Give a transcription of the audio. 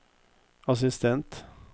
assistent